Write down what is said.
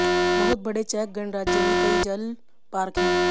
बहुत बड़े चेक गणराज्य में कई जल पार्क हैं